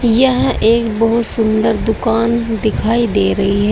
यह एक बहुत सुंदर दुकान दिखाई दे रही है।